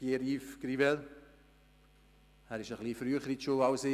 Er war ein bisschen früher in die Schule als ich.